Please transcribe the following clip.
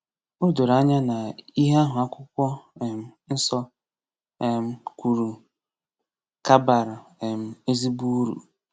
O doro anya na ihe ahụ Akwụkwọ um Nsọ um kwuru ka bara um ezigbo uru.